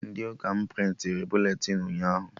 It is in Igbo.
Ndị ụka m prịntịrị buletịn ụnyaahụ